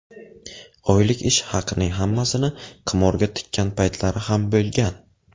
Oylik ish haqining hammasini qimorga tikkan paytlari ham bo‘lgan.